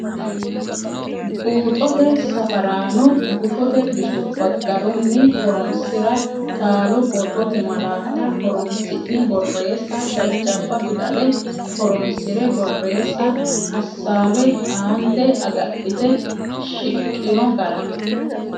Buuxote Safaraano Gufote bisubba garunni horonsi’ra Taalo borrote malaatta horonsi’ne borreessa Jajjabba fidale horonsi’re borreessa Assaawe aante agadhite shiqqino gara.